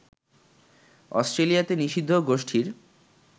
অস্ট্রেলিয়াতে নিষিদ্ধ গোষ্ঠীর